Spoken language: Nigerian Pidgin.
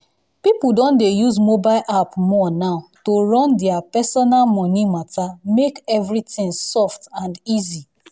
people don dey use mobile app more now to run their personal money matter make everything soft and easy.